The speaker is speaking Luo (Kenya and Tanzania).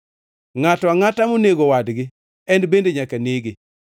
“ ‘Ngʼato angʼata monego wadgi, en bende nyaka nege.